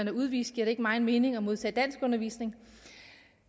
er udvist giver det ikke meget mening at modtage danskundervisning